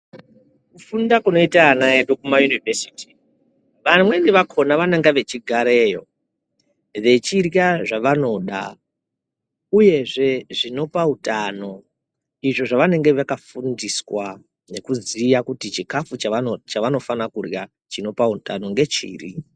Kufunda kunoita vana vedu kumayunivhesiti vamweni vakhona vanenga veigareyo vevhirya zvavanoda uyezve zvinola utano izvo zvavanenge vakafundiswa nekuziya kuti chikafu chavanofana kurya chinopa utano ngechiri.